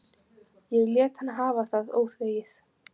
Ég lét hann hafa það óþvegið.